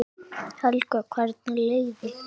Helga: Hvernig leið ykkur?